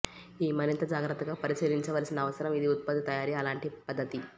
ఈ మరింత జాగ్రత్తగా పరిశీలించవలసిన అవసరం ఇది ఉత్పత్తి తయారీ అలాంటి పద్ధతి